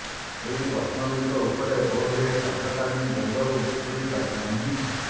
ଏଇ ପ୍ରଶ୍ନଗୁଡ଼ିକ ଉପରେ ବୋଧହୁଏ କାର୍ଯ୍ୟକାରିଣୀ ଦ୍ବନ୍ଦ୍ବରୁ ମୁକୁଳି ପାରିନାହାନ୍ତି